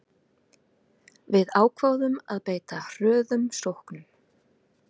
Við ákváðum að beita hröðum sóknum